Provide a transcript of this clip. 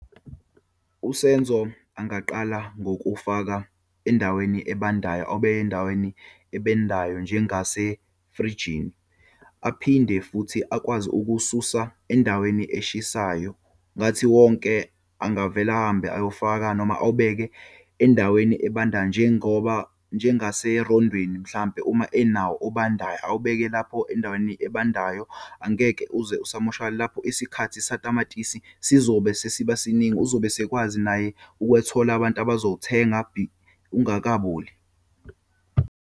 USenzo angaqala ngokuwufaka endaweni ebandayo, obe endaweni ebendayo njengasefrijini. Aphinde futhi akwazi ukuwususa endaweni eshisayo. Ngathi wonke angavele ahambe ayowufaka noma awubeke endaweni ebandayo njengoba, njengaserondweni mhlampe uma enawo obandayo, awubeke lapho endaweni ebandayo, angeke uze isamoshakale. Lapho isikhathi satamatisi sizobe sesiba siningi. Uzobe sekwazi naye ukuyothola abantu abazowuthenga be ungakaboli.